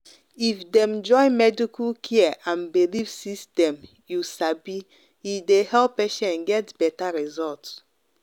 if dem join medical care and belief system you sabi e dey help patients get better result.